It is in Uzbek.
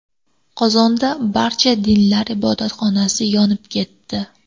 Qozonda Barcha dinlar ibodatxonasi yonib ketdi.